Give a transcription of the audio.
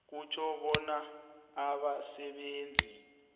kutjho bonyana abasebenzi